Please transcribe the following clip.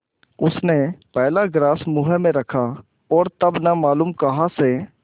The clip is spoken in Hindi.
उसने पहला ग्रास मुँह में रखा और तब न मालूम कहाँ से